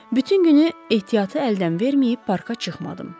Bütün günü ehtiyatı əldən verməyib parka çıxmadım.